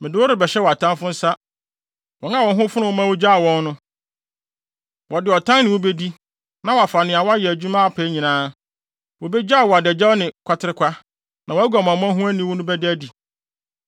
Wɔde ɔtan ne wo bedi, na wɔafa nea woayɛ adwuma apɛ nyinaa. Wobegyaw wo adagyaw ne kwaterekwa, na wʼaguamammɔ ho aniwu no bɛda adi. Wʼaniwude ne wʼaguamansɛm no